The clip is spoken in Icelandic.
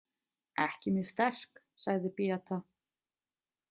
Ekki mjög sterk, sagði Beata.